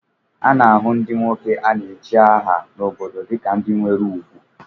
A na-ahụ ndị nwoke a na-echi aha n'obodo dịka ndị nwere ugwu